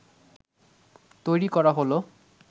তৈরি করা হলো